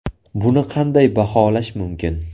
Buni qanday baholash mumkin?